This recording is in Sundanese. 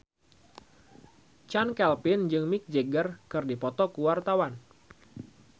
Chand Kelvin jeung Mick Jagger keur dipoto ku wartawan